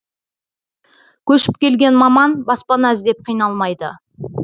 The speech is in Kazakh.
көшіп келген маман баспана іздеп қиналмайды